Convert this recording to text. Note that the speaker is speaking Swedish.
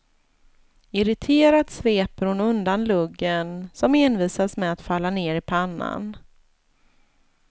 Irriterat sveper hon undan luggen som envisas med att falla ner i pannan.